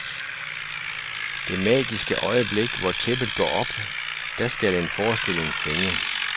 Det magiske øjeblik, hvor tæppet går op, da skal en forestilling fænge.